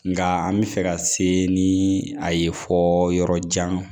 Nka an bɛ fɛ ka se ni a ye fɔ yɔrɔ jan